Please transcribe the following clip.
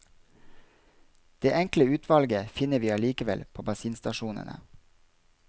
Det enkle utvalget finner vi allikevel på bensinstasjonene.